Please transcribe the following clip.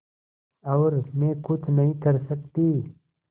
और मैं कुछ नहीं कर सकती